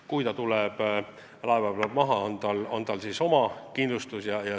Kui meremees tuleb laeva pealt maha, siis on tal oma kindlustus.